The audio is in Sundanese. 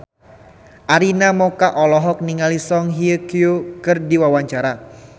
Arina Mocca olohok ningali Song Hye Kyo keur diwawancara